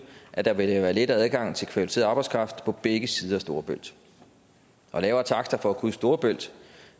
at der vil være let adgang til kvalificeret arbejdskraft på begge sider af storebælt lavere takster for at krydse storebælt